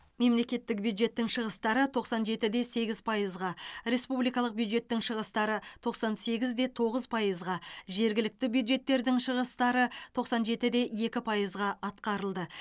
мемлекеттік бюджеттің шығыстары тоқсан жеті де сегіз пайызға республикалық бюджеттің шығыстары тоқсан сегіз де тоғыз пайызға жергілікті бюджеттердің шығыстары тоқсан жеті де екі пайызға атқарылды